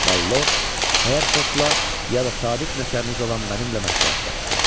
Məlord Herfordla ya da sadiq nökəriniz olan mənimlə məsləhətləşsin.